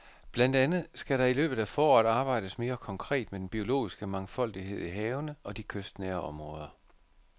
Blandt andet skal der i løbet af foråret arbejdes mere konkret med den biologiske mangfoldighed i havene og i de kystnære områder.